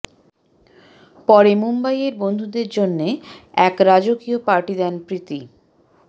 পরে মুম্বইয়ের বন্ধুদের জন্যে এক রাজকীয় পার্টি দেন প্রীতি